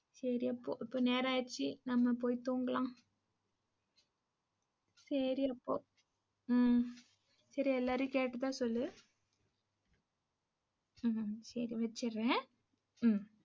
சரி அப்போ இப்போ நேரம் ஆயிருச்சு நம்ம போய் தூங்கலாம் சேரி அப்போ ஹ்ம் சரி எல்லாரையும் கேட்டதா சொல்லு. ஹ்ம் சரி வச்சுறேன்.